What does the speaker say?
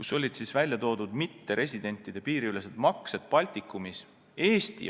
Seal olid välja toodud mitteresidentide piiriülesed maksed Baltikumis.